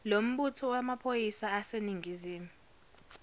lombutho wamaphoyisa aseningizimu